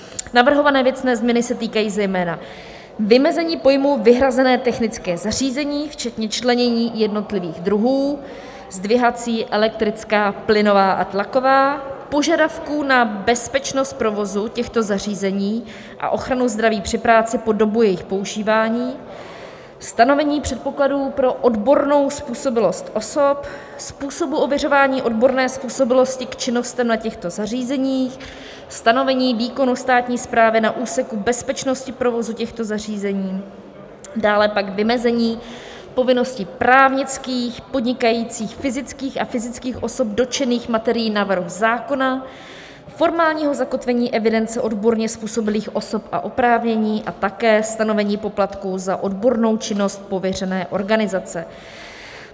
Navrhované věcné změny se týkají zejména vymezení pojmu "vyhrazené technické zařízení" včetně členění jednotlivých druhů "zdvihací, elektrická, plynová a tlaková", požadavků na bezpečnost provozu těchto zařízení a ochranu zdraví při práci po dobu jejich používání, stanovení předpokladů pro odbornou způsobilost osob, způsobu ověřování odborné způsobilosti k činnostem na těchto zařízeních, stanovení výkonu státní správy na úseku bezpečnosti provozu těchto zařízení, dále pak vymezení povinností právnických podnikajících fyzických a fyzických osob dotčených materií návrhu zákona, formálního zakotvení evidence odborně způsobilých osob a oprávnění a také stanovení poplatku za odbornou činnost pověřené organizace.